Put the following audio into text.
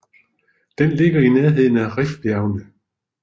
Den ligger i nærheden af Rifbjergene